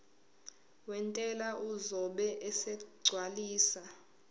wentela uzobe esegcwalisa